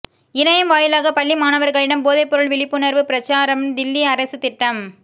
இணையம் வாயிலாக பள்ளி மாணவா்களிடம் போதைப்பொருள் விழிப்புணா்வுப் பிரசாரம்தில்லி அரசு திட்டம்